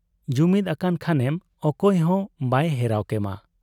ᱡᱩᱢᱤᱫ ᱟᱠᱟᱱ ᱠᱷᱟᱱᱮᱢᱚᱠᱚᱭ ᱦᱚᱸ ᱵᱟᱭ ᱦᱮᱨᱟᱣ ᱠᱮᱢᱟ ᱾